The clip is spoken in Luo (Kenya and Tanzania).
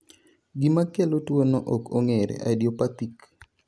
Gima kelo tuwono ok ong'ere (idiopathic).